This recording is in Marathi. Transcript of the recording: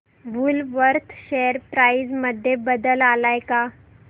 वूलवर्थ शेअर प्राइस मध्ये बदल आलाय का